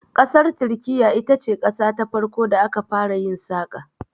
Ƙasar Turkiyya ita ce qasa ta farko da aka fara yin saƙa.